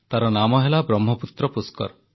ତାର ନାମ ହେଲା ବ୍ରହ୍ମପୁତ୍ର ପୁଷ୍କର